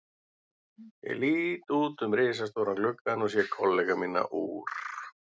Ég lít út um risastóran gluggann og sé kollega mína úr